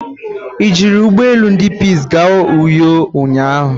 I jiri Ugbo elu ndi Peace gaa Uyo ụnyahụ?